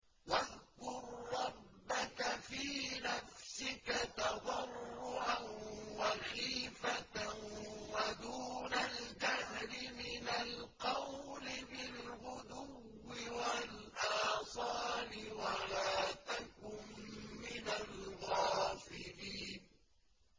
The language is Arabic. وَاذْكُر رَّبَّكَ فِي نَفْسِكَ تَضَرُّعًا وَخِيفَةً وَدُونَ الْجَهْرِ مِنَ الْقَوْلِ بِالْغُدُوِّ وَالْآصَالِ وَلَا تَكُن مِّنَ الْغَافِلِينَ